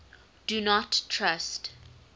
do not trust